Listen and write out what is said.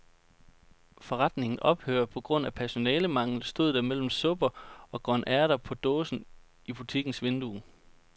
Forretningen ophører på grund af personalemangel, stod der mellem supper og grønærter på dåse i butikkens vindue.